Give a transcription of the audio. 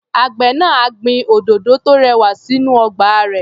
Àgbẹ̀ náà á gbin òdòdó tó rẹwà sínú ọgbà rẹ̀.